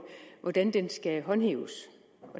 hvordan den skal håndhæves